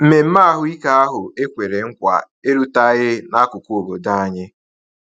Mmemme ahụike ahụ ekwere nkwa eruteghị n’akụkụ obodo anyị.